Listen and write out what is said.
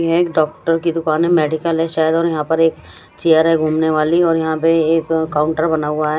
ये एक डॉक्टर कि दुकान हैं मेडिकल हैं शायद और यहा पर एक चेयर हैं गुमने वाली और यहा पर एक काउंटर बना हुआ हैं।